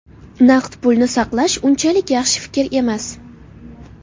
Naqd pulni saqlash unchalik yaxshi fikr emas.